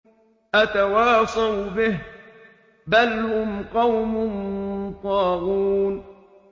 أَتَوَاصَوْا بِهِ ۚ بَلْ هُمْ قَوْمٌ طَاغُونَ